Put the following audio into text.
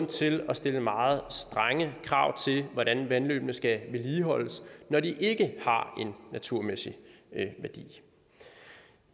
til at stille meget strenge krav til hvordan vandløbene skal vedligeholdes når de ikke har en naturmæssig værdi